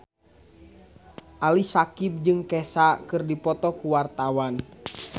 Ali Syakieb jeung Kesha keur dipoto ku wartawan